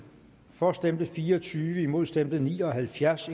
for stemte fire og tyve imod stemte ni og halvfjerds